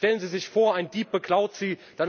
Stellen Sie sich vor, ein Dieb beklaut Sie.